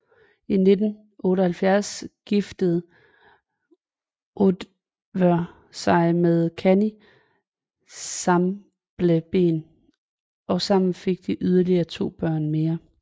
I 1978 giftede Oddvør sig med Kanny Sambleben og sammen fik de yderligere to mere børn